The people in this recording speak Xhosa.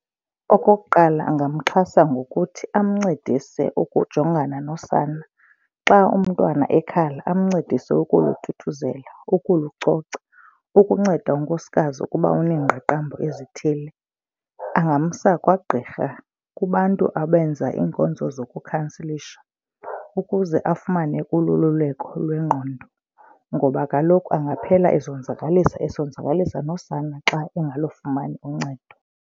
Okokuqala, angamxhasa ngokuthi amncedise ukujongana nosana. Xa umntwana ekhala amncedise ukuluthuthuzela ukulucoca ukunceda unkosikazi ukuba unengqaqambo ezithile. Angamsa kwagqirha kubantu abenza iinkonzo zokukhanselisha ukuze afumane kulo uloluleko lwengqondo ngoba kaloku angaphela ezonzakalisa esonzakalisa nosana xa angalufumani uncedo.